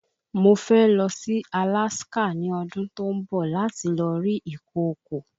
Mo fẹ́ lọ sí Alaska ní ọdún tó ń bọ̀ láti lọ rí ìkokò